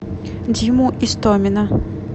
диму истомина